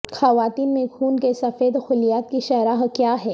خواتین میں خون کے سفید خلیات کی شرح کیا ہے